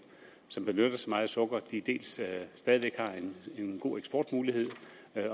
som benytter sig meget af sukker stadig væk har en god eksportmulighed